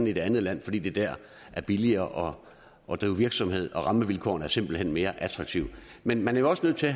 i det andet land fordi det der er billigere at drive virksomhed og fordi rammevilkårene simpelt hen er mere attraktive men man er jo også nødt til